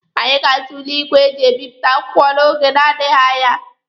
Anyị ga-azụ igwe eji ebipụta akwụkwọ n'oge na-adịghị anya.